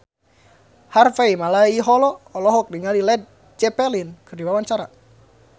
Harvey Malaiholo olohok ningali Led Zeppelin keur diwawancara